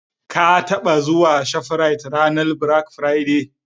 Ka taɓa zuwa shafrit ranar "bilak firade"?